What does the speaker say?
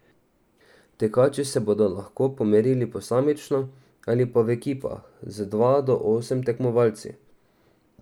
Tekači se bodo lahko pomerili posamično ali pa v ekipah z dva do osem tekmovalci.